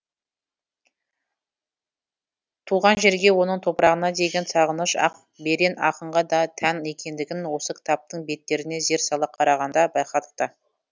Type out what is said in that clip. туған жерге оның топырағына деген сағыныш ақберен ақынға да тән екендігін осы кітаптың беттеріне зер сала қарағанда байқадық та